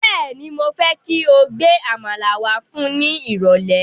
Bẹ́ẹ̀ni, mo fẹ́ kí o gbe Àmàlà wá fún ni irole